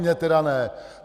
Mně tedy ne!